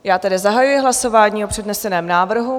Já tedy zahajuji hlasování o předneseném návrhu.